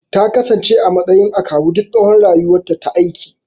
Takasance a matsayin akawu duk tsawon rayuwarta ta aiki